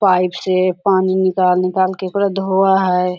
Pipe से पानी निकाल निकाल के पूरा धोवा है।